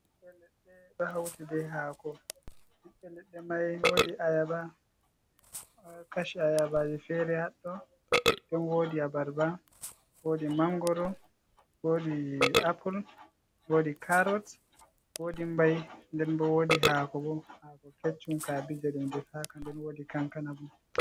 Bibbe leɗde do hauti be hako bibbe ledde mai wodi ayaba, kashi ayabaji fere haddo don wodi abarba, wodi mangoro, wodi apple, wodi carots, wodi mbai, nden bo wodi hako, bo hako keccum kabije defaka nden wodi kankana bo.